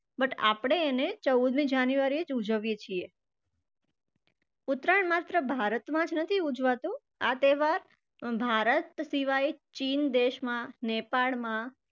but આપણે એને ચૌદમી january એ જ ઉજવીએ છીએ. ઉત્તરાયણ માત્ર ભારતમાં જ નથી ઉજવાતું. આ તહેવાર ભારત સિવાય ચીન દેશમાં, નેપાળમાં